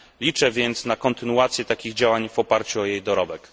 Liczę więc na kontynuację takich działań w oparciu o jej dorobek.